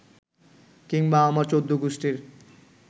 কিংবা আমার চৌদ্দগুষ্টির